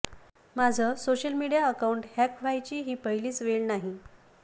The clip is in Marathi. माझं सोशल मीडिया अकाऊंट हॅक व्हायची ही पहिलीच वेळ नाही